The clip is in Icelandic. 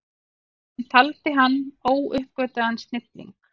Hann taldi hann óuppgötvaðan snilling.